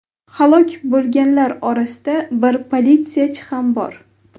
Halok bo‘lganlar orasida bir politsiyachi ham bor.